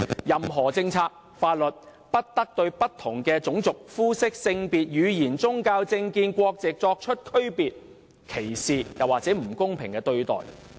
任何政策或法律，不得對不同種族、膚色、性別、語言、宗教、政見、國籍的人作出區別、歧視或不公平的對待。